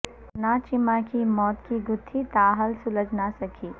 ثنا چیمہ کی موت کی گتھی تاحال سلجھ نہ سکی